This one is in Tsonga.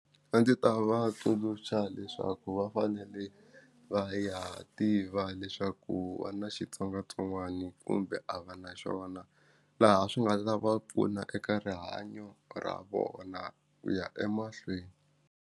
A ndzi ta va tsundzuxa leswaku va fanele va ya tiva leswaku va na xitsongwatsongwani kumbe a va na xona laha swi nga ta va pfuna eka rihanyo ra vona ku ya emahlweni.